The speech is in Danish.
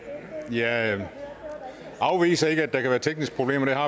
jeg afviser ikke at der kan være tekniske problemer det har